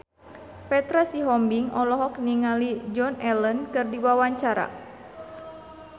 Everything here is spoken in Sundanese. Petra Sihombing olohok ningali Joan Allen keur diwawancara